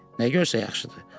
Nə görsə yaxşıdır.